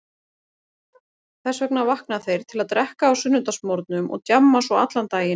Þess vegna vakna þeir til að drekka á sunnudagsmorgnum og djamma svo allan daginn.